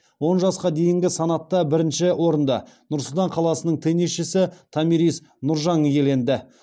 он жасқа дейінгі санатта бірінші орынды нұр сұлтан қаласының теннисшісі томирис нұржан иеленді